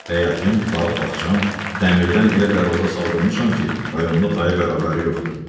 Həyətim, bağ-bağçam, dəmirdən elə dərvazə saldırmışam ki, rayonda tayı bərabəri yoxdur.